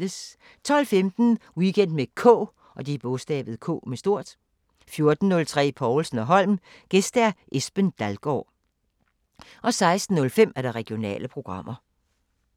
12:15: Weekend med K 14:03: Povlsen & Holm: Gæst Esben Dalgaard 16:05: Regionale programmer